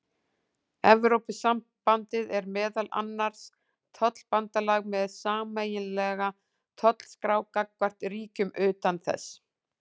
Evrópusambandið er meðal annars tollabandalag með sameiginlega tollskrá gagnvart ríkjum utan þess.